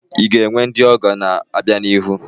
I ga-enwe ndị ọgọ n'obianihu?